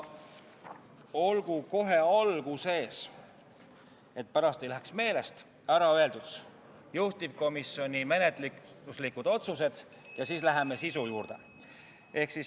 Olgu kohe alguses, et pärast ei läheks meelest, ära öeldud juhtivkomisjoni menetluslikud otsused ja siis läheme sisu juurde.